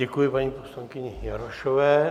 Děkuji paní poslankyni Jarošové.